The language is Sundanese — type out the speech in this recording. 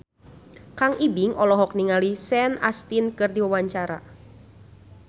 Kang Ibing olohok ningali Sean Astin keur diwawancara